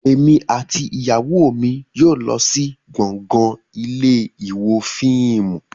Èmi àti ìyàwó mi yóò lọ sí gbọ̀ngàn ilé ìwo fíìmù